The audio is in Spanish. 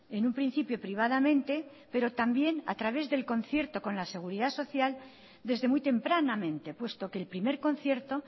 en un principio privadamente pero también a través del concierto con la seguridad social desde muy tempranamente puesto que el primer concierto